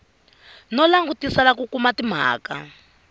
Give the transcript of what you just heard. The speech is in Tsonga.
no langutisela ku kuma timhaka